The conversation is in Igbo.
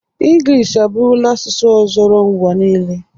Ịngilish abụrụla asụsụ ọzọro ụwa niile.